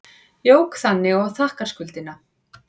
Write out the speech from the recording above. Jók þannig á þakkarskuldina.